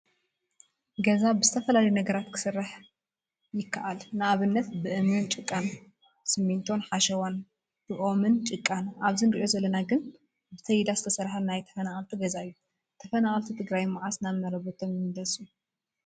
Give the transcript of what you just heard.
ገዛ ብዝተፈላለዩ ነገራት ክሰርሕ ክይእል ንኣብነት፦ ብእምኒን ጭቃን፣ ስሚቶን ሓሸዋን፣ ብኦምን ጭቃን ኣብዚ እንሪኦ ዘለና ግና ብተይዳ ዝተሰረሐ ናይ ተፈናቀልቲ ገዛ እዩ። ተፈናቀልቲ ትግራ መዓስ ናብ መረበቶም ይምለሱ?